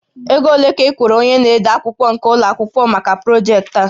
Ego ole ka ị kwụrụ onye na-ede akwụkwọ nke ụlọ akwụkwọ maka projektị a?